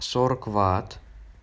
сорок ватт